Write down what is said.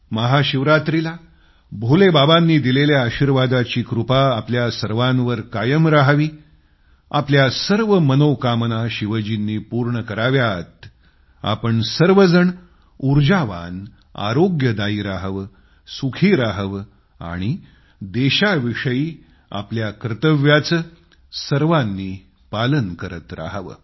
महाशिवरात्रीला भोले बाबांनी दिलेल्या आशीर्वादाची कृपा आपल्या सर्वांवर कायम रहावी आपल्या सर्व मनोकामना शिवजींनी पूर्ण कराव्यात आपण सर्वजण ऊर्जावान आरोग्यदायी रहावं सुखी रहावं आणि देशाविषयी आपल्या कर्तव्याचं सर्वांनी पालन करीत रहावं